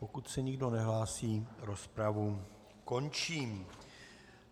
Pokud se nikdo nehlásí, rozpravu končím.